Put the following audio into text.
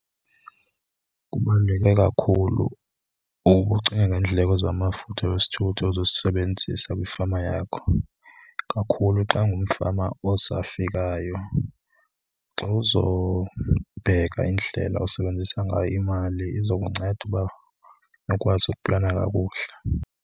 Kubaluleke kakhulu ukucinga ngeendleko zamafutha wesithuthi ozosebenzisa kwifama yakho kakhulu xa ungumfama osafikayo. Xa uzobheka indlela osebenzisa ngayo imali izokunceda uba ukwazi ukuplana kakuhle.